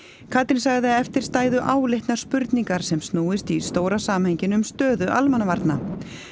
Katrín sagði að eftir stæðu áleitnar spurningar sem snúist í stóra samhenginu um stöðu almannavarna